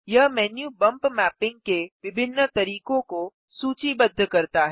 यह menu bump mapping के विभिन्न तरीकों को सूचीबद्ध करता है